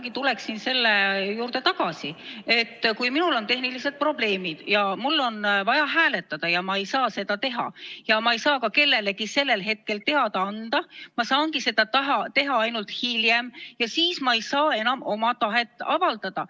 Ma tulen selle juurde tagasi, et kui minul on tehnilised probleemid ja mul on vaja hääletada, aga ma ei saa seda teha ja ma ei saa ka kellelegi sellel hetkel teada anda, ma saangi seda teha alles hiljem, siis ma ei saa enam oma tahet avaldada.